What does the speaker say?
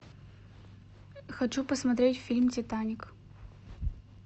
хочу посмотреть фильм титаник